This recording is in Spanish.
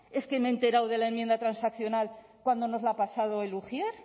es que me he enterado de la enmienda transaccional cuando nos la ha pasado el ujier